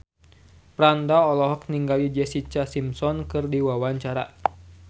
Franda olohok ningali Jessica Simpson keur diwawancara